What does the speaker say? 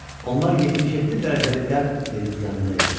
Onlar 77 dərəcəlik qərb meridianında idilər.